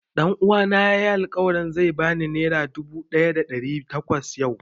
Ɗan uwana ya yi alƙawarin zai ba ni nera dubu ɗaya da ɗari takwas yau